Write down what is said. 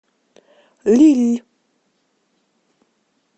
лилль